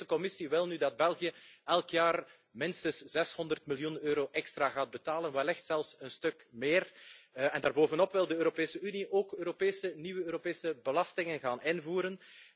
De Europese Commissie wil nu dat België elk jaar minstens 600 miljoen euro extra gaat betalen, wellicht zelfs een stuk meer. Daar bovenop wil de Europese Unie ook nieuwe Europese belastingen gaan invoeren.